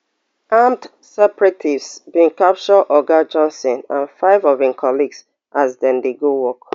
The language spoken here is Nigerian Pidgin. armed separatists bin capture oga johnson and five of im colleagues as dem dey go work